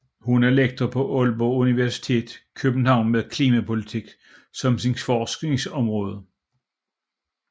Hun er lektor ved Aalborg Universitet København med klimapolitik som sit forskningsområde